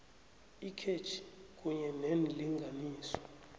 ikhetjhi kunye neenlinganiso